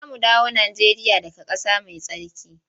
Za mu dawo Najeriya daga ƙasa mai tsarki.